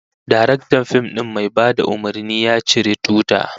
Daraktan fim din mai bada umurni, ya ciri tuta